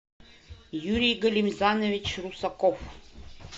юрий галимзанович русаков